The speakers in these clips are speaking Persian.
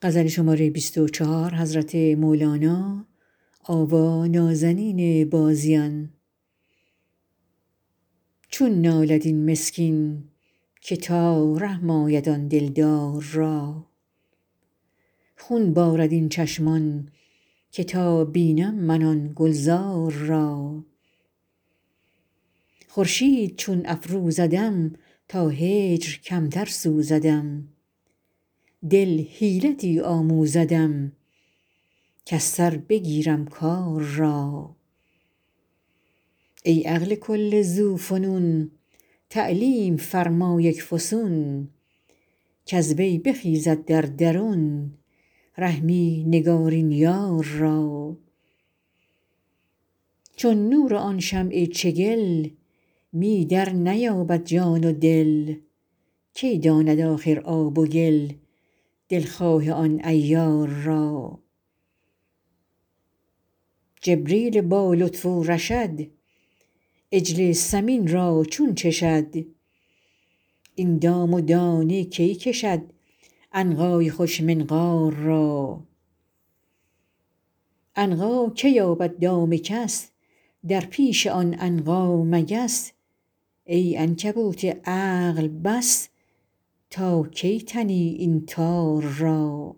چون نالد این مسکین که تا رحم آید آن دلدار را خون بارد این چشمان که تا بینم من آن گلزار را خورشید چون افروزدم تا هجر کمتر سوزدم دل حیلتی آموزدم کز سر بگیرم کار را ای عقل کل ذوفنون تعلیم فرما یک فسون کز وی بخیزد در درون رحمی نگارین یار را چون نور آن شمع چگل می درنیابد جان و دل کی داند آخر آب و گل دلخواه آن عیار را جبریل با لطف و رشد عجل سمین را چون چشد این دام و دانه کی کشد عنقای خوش منقار را عنقا که یابد دام کس در پیش آن عنقا مگس ای عنکبوت عقل بس تا کی تنی این تار را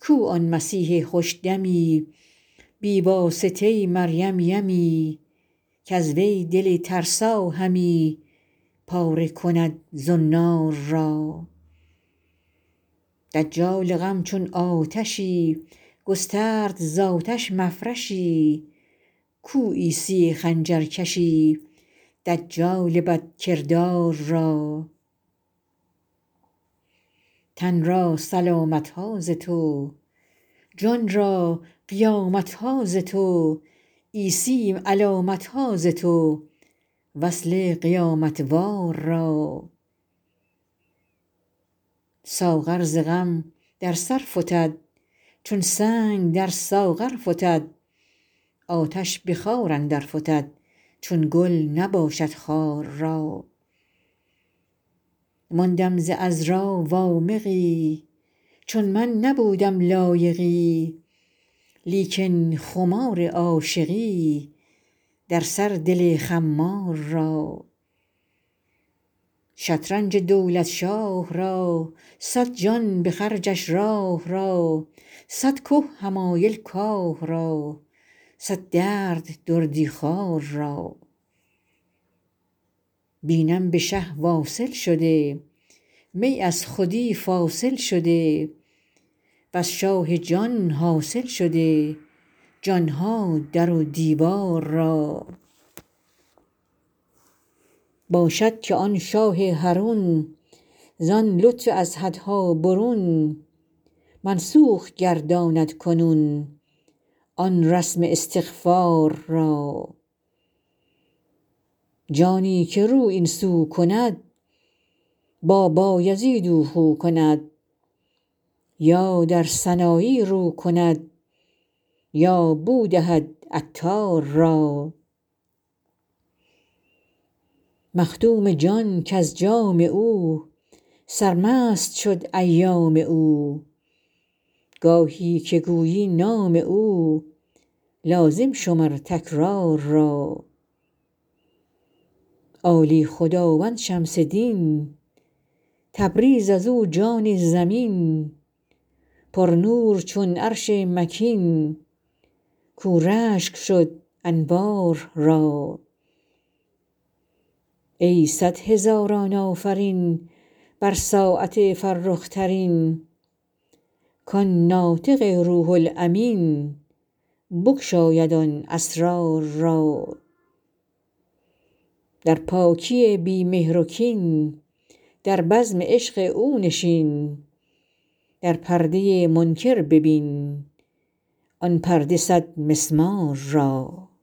کو آن مسیح خوش دمی بی واسطه مریم یمی کز وی دل ترسا همی پاره کند زنار را دجال غم چون آتشی گسترد ز آتش مفرشی کو عیسی خنجرکشی دجال بدکردار را تن را سلامت ها ز تو جان را قیامت ها ز تو عیسی علامت ها ز تو وصل قیامت وار را ساغر ز غم در سر فتد چون سنگ در ساغر فتد آتش به خار اندر فتد چون گل نباشد خار را ماندم ز عذرا وامقی چون من نبودم لایقی لیکن خمار عاشقی در سر دل خمار را شطرنج دولت شاه را صد جان به خرجش راه را صد که حمایل کاه را صد درد دردی خوار را بینم به شه واصل شده می از خودی فاصل شده وز شاه جان حاصل شده جان ها در و دیوار را باشد که آن شاه حرون زان لطف از حدها برون منسوخ گرداند کنون آن رسم استغفار را جانی که رو این سو کند با بایزید او خو کند یا در سنایی رو کند یا بو دهد عطار را مخدوم جان کز جام او سرمست شد ایام او گاهی که گویی نام او لازم شمر تکرار را عالی خداوند شمس دین تبریز از او جان زمین پرنور چون عرش مکین کاو رشک شد انوار را ای صد هزاران آفرین بر ساعت فرخ ترین کان ناطق روح الامین بگشاید آن اسرار را در پاکی بی مهر و کین در بزم عشق او نشین در پرده منکر ببین آن پرده صدمسمار را